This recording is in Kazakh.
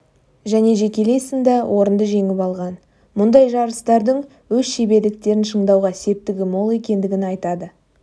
және жекелей сында орынды жеңіп алған мұндай жарыстардың өз шеберліктерін шыңдауға септігі мол екендігін айтады